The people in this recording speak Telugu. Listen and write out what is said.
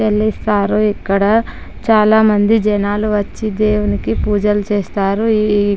తెలీదు సారు . ఇక్కడ చాలా మంది జనాలు వచ్చి దేవునికి పూజలు చేస్తారు. ఇ ఈ--